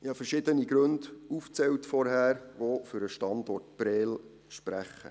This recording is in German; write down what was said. Ich habe vorhin verschiedene Gründe aufgezählt, die für den Standort Prêles sprechen.